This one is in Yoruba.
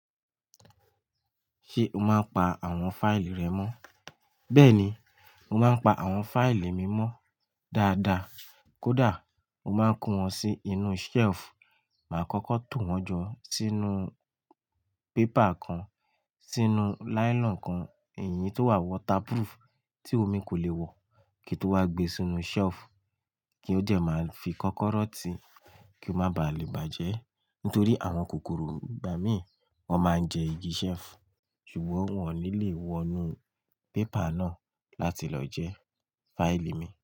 Ṣé o máa ń pa àwọn fáìlì rẹ mọ́? Bẹ́ẹ̀ni, mo máa ń pa àwọn fáìlì mi mọ́ dáadáa. Kódà, mo máa ń kó wọn sí inú selifu, màá kọ́kọ́ tò wọ́n jọ sínú pépà kan, sínú lailon kan, èyí ti omi ko le bajẹ, tí omi kò lè wọ̀, kí n tó wá gbé e sínú shelf, kí ó jẹ̀ máa fi kọ́kọ́rọ́ ti kí ó má baà lè bàjẹ́. Nítorí àwọn kòkòrò ìgbà mí, wọ́n máa ń jẹ igi selifu, ṣùgbọ́n wọn ò ní lè wọnú pépà náà láti lọ jẹ fáìlì mi.